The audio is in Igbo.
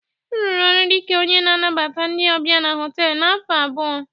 M rụrụ ọrụ dị ka onye na-anabata ndị ọbịa na họtelu afọ abụọ